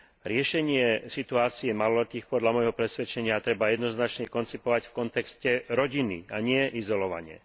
Riešenie situácie maloletých podľa môjho presvedčenia treba jednoznačne koncipovať v kontexte rodiny, a nie izolovane.